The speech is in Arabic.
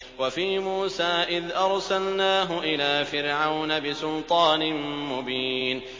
وَفِي مُوسَىٰ إِذْ أَرْسَلْنَاهُ إِلَىٰ فِرْعَوْنَ بِسُلْطَانٍ مُّبِينٍ